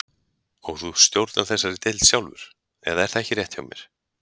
Og þú stjórnar þessari deild sjálfur, eða er það ekki rétt hjá mér?